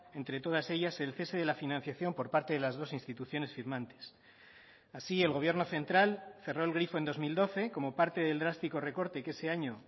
entre todas ellas el cese de la financiación por parte de las dos instituciones firmantes así el gobierno central cerró el grifo en dos mil doce como parte del drástico recorte que ese año